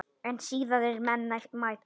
En siðaðir menn mæta.